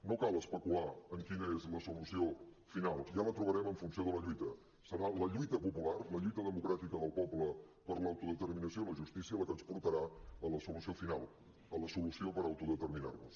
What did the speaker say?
no cal especular amb quina és la solució final ja la trobarem en funció de la lluita serà la lluita popular la lluita democràtica del poble per l’autodeterminació i la justícia la que ens portarà a la solució final a la solució per autodeterminar·nos